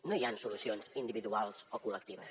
no hi han solucions individuals o col·lectives